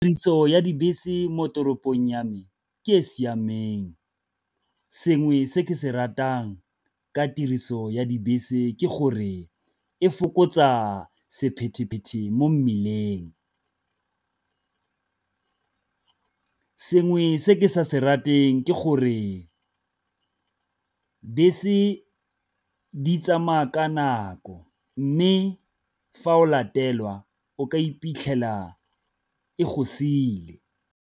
Tiriso ya dibese mo toropong ya me ke e e siameng, sengwe se ke se ratang ka tiriso ya dibese ke gore e fokotsa sephephethe mo mmileng. Sengwe se ke sa se rateng ke gore bese di tsamaya ka nako, mme fa o latelwa o ka iphitlhela e go siile.